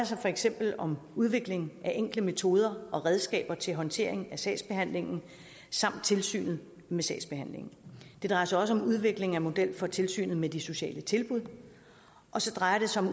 sig for eksempel om udvikling af enkle metoder og redskaber til håndtering af sagsbehandlingen samt tilsynet med sagsbehandlingen det drejer sig også om udvikling af en model for tilsynet med de sociale tilbud og så drejer det sig om